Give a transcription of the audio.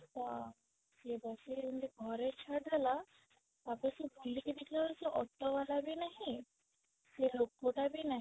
ତ ସିଏ ଯେମିତି ଘରେ ଛାଡି ଦେଲା ତାପରେ ସେ ବୁଲିକି ଦେଖିଲା ବେଳକୁ ସେ auto ଵାଲା ବି ନାହିଁ ସେ ଲୋକ ଟା ବି ନାହିଁ